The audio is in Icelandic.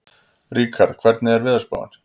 Ríkharð, hvernig er veðurspáin?